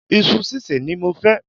Isu sísè ni mo fẹ́